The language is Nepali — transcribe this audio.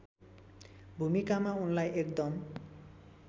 भूमिकामा उनलाई एकदम